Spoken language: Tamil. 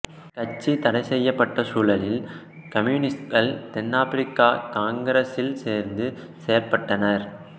கட்சி தடை செய்யப்பட்ட சூழலில் கம்யூனிஸ்ட்கள் தென்னாப்பிரிக்க காங்கிரசில் சேர்ந்து செயல்பட்டனர்